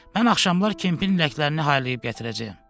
Mən axşamlar Kempin ləklərini haylayıb gətirəcəyəm.